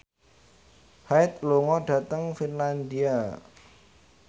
Hyde lunga dhateng Finlandia